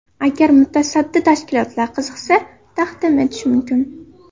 Agar mutasaddi tashkilotlar qiziqsa, taqdim etishim mumkin.